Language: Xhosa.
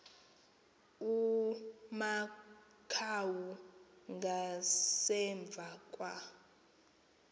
amakhawu ngasemva kwa